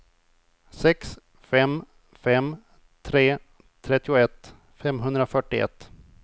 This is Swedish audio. sex fem fem tre trettioett femhundrafyrtioett